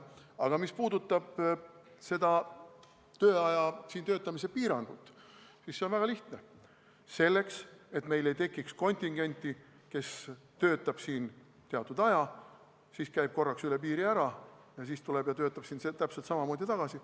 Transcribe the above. Aga mis puudutab töötamise piirangut, siis põhjus on väga lihtne: selleks, et meil ei tekiks kontingenti, kes töötab siin teatud aja, käib korraks üle piiri ära ja siis tuleb ja töötab täpselt samamoodi edasi.